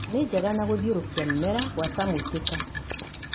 Nĩnjega na gũthiũrũkia mĩmera gwata mũitĩka